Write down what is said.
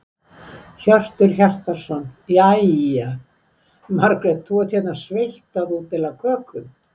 Hjörtur Hjartarson: Jæja, Margrét, þú ert hérna sveitt að útdeila kökum?